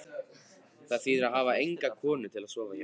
Það þýðir að hafa enga konu til að sofa hjá.